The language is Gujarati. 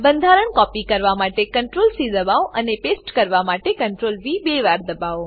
બંધારણો કોપી કરવા માટે CTRLC દબાવો અને પેસ્ટ કરવા માટે CTRLV બે વાર દબાવો